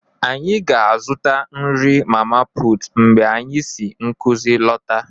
Anyị ga-azụta nri mama putu mgbe anyị si nkuzi lọta